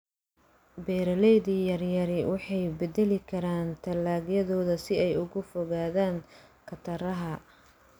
Beeralayda yaryari waxay bedeli karaan dalagyadooda si ay uga fogaadaan khataraha.